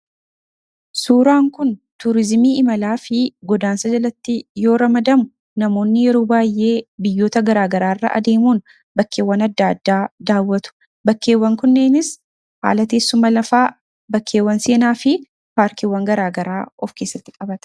Suuraan kun tuurizimii imalaa fi godaansa jalatti yooramadamu namoonni yeroo baay'ee biyyoota garaagaraairra adeemuun bakkeewwan adda addaa daawwatu. Bakkeewwan kunneenis haalateessuma lafaa bakkeewwan seenaa fi paarkeewwan garaagaraa of keessatti qabata.